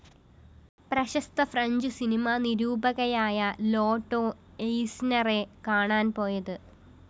പ്രശസ്ത ഫ്രഞ്ച്‌ സിനിമാ നിരൂപകയായ ലോട്ടോ എയ്‌സ്‌നറെ കാണാന്‍ പോയത്